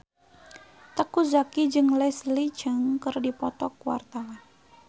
Teuku Zacky jeung Leslie Cheung keur dipoto ku wartawan